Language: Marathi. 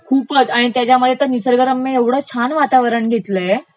खूपचं आणि त्याच्यामध्ये निसर्गरम्य ऐवढं छान वातावरण घेतलयं.